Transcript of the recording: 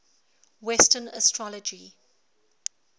western astrology